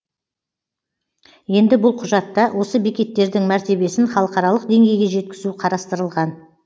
енді бұл құжатта осы бекеттердің мәртебесін халықаралық деңгейге жеткізу қарастырылған